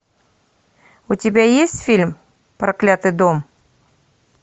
у тебя есть фильм проклятый дом